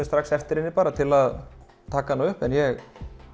strax eftir henni til að taka hana upp en ég